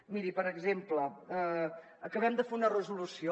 miri per exemple acabem de fer una resolució